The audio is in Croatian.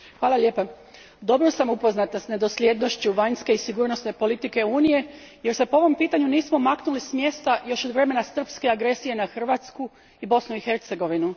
Gospodine predsjedavajući, dobro sam upoznata s nedosljednošću vanjske i sigurnosne politike Unije jer se po ovom pitanju nismo maknuli s mjesta još od vremena srpske agresije na Hrvatsku i Bosnu i Hercegovinu.